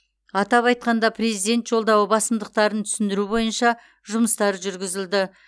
атап айтқанда президент жолдауы басымдықтарын түсіндіру бойынша жұмыстар жүргізілді